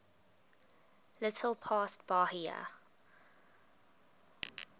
little past bahia